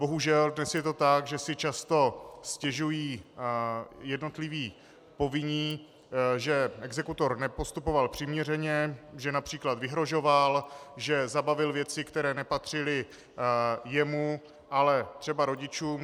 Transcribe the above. Bohužel, dnes je to tak, že si často stěžují jednotliví povinní, že exekutor nepostupoval přiměřeně, že například vyhrožoval, že zabavil věci, které nepatřily jemu, ale třeba rodičům.